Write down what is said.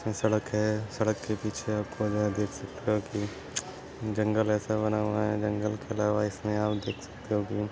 इसमे सड़क है सड़क के पीछे आपको यहा देख सकता की जंगल ऐसा बना हुआ है। जंगल के अलावा इसमे आप देख सकते हो की --